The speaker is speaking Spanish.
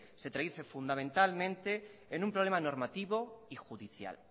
se traduce fundamentalmente en un problema normativo y judicial